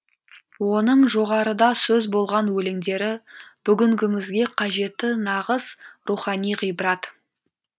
оның жоғарыда сөз болған өлеңдері бүгінгімізге қажетті нағыз рухани ғибрат